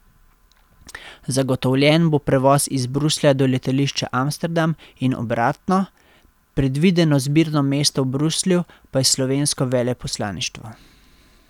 Zagotovljen bo prevoz iz Bruslja do letališča Amsterdam in obratno, predvideno zbirno mesto v Bruslju pa je slovensko veleposlaništvo.